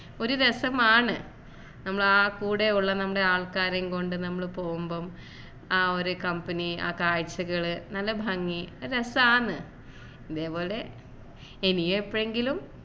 ഒരു രസമാണ് നമ്മളാ കൂടെയുള്ള നമ്മുടെ ആൾക്കാരെയും കൊണ്ട് നമ്മൾ പോകുമ്പോൾ ആ ഒരു company ആ കാഴ്ചകൾ നല്ല ഭംഗി ഒരു രസമാണ് അതേപോലെ ഇനി എപ്പോഴെങ്കിലും